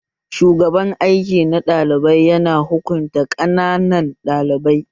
Shugaban aiki na ɗalibai ya na hukunta ƙananan ɗalibai